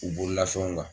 U bololafɛnw kan